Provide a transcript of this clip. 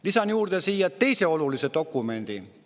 Lisan siia juurde teise olulise dokumendi.